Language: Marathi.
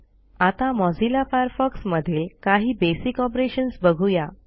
आता मोझिल्ला फायरफॉक्स मधील काही बेसिक ऑपरेशन्स बघू या